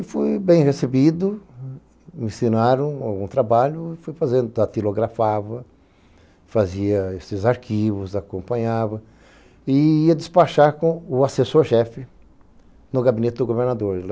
E fui bem recebido, me ensinaram um trabalho, fui fazendo, tatilografava, fazia esses arquivos, acompanhava e ia despachar com o assessor-jefe no gabinete do governador.